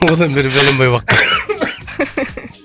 одан бері бәленбай уақыт